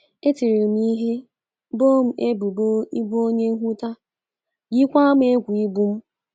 E tiri m ihe, boo m ebubo ịbụ onye nhụta, yikwa m egwu igbu m.